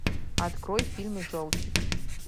открой фильм желтик